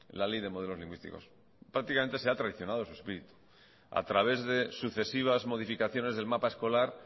la ley de modelos lingüísticos prácticamente se ha traicionado su espíritu a través de sucesivas modificaciones del mapa escolar